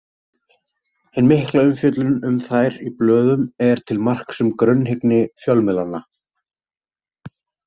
Hin mikla umfjöllun um þær í blöðum er til marks um grunnhyggni fjölmiðlanna.